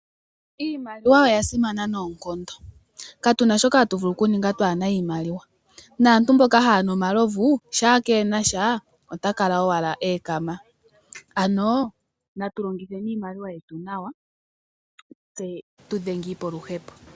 Iimaliwa oya simana noonkondo. Katuna shoka hatu vulu oku ninga twaana iimaliwa. Naantu mboka haya nu omalovu shampa keenasha ota kala owala eekama ano natu longitheni iimaliwa yetu nawa tse tu dhengiipo oluhepo.